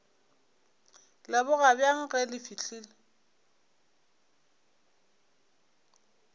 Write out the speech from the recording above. leboga bjang ge le fihlile